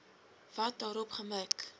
wat daarop gemik